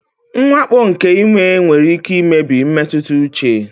Mwakpo nke ime nwere ike imebi mmetụta uche.